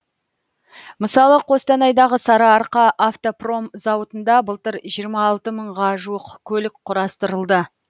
мысалы қостанайдағы сарыарқа автопром зауытында былтыр жиырма алты мыңға жуық көлік құрастырылды